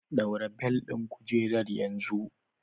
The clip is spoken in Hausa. Ɗaura bel din kujera yanzu. Fasten your seat belt immediately.